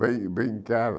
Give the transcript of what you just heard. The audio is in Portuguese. Bem bem cara.